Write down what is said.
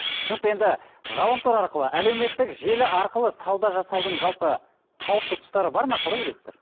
түсінікті енді ғаламтор арқылы әлеуметтік желі арқылы сауда жасаудың жалпы қауіпті тұстары бар ма қалай ойлайсыздар